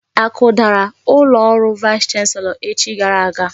Akudara ụlọ ọrụ vaịs chanselọ echi gara aga.